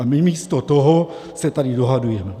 A my místo toho se tady dohadujeme.